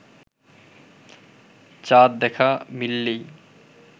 চাঁদ দেখা মিললেই